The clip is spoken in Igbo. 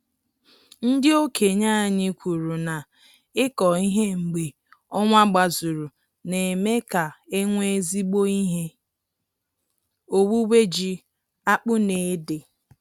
Ndị okenye anyị kwuru na ịkọ ihe mgbe ọnwa gbazuru na-eme ka enwe ezigbo ihe owuwe ji, akpụ na ede